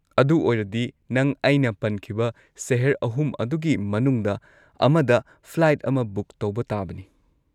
ꯑꯗꯨ ꯑꯣꯏꯔꯗꯤ ꯅꯪ ꯑꯩꯅ ꯄꯟꯈꯤꯕ ꯁꯦꯍꯔ ꯑꯍꯨꯝ ꯑꯗꯨꯒꯤ ꯃꯅꯨꯡꯗ ꯑꯃꯗ ꯐ꯭ꯂꯥꯏꯠ ꯑꯃ ꯕꯨꯛ ꯇꯧꯕ ꯇꯥꯕꯅꯤ꯫